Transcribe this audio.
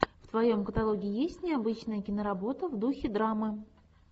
в твоем каталоге есть необычная киноработа в духе драмы